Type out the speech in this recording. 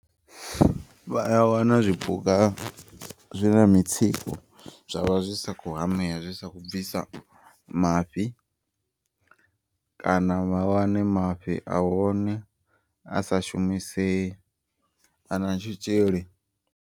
Vhaya wana zwipuka zwi na mitsiko zwavha zwisa kho hamea. Zwisa kho bvisa mafhi kana vha wane mafhi a hone asa shumisei ana tshitzhili.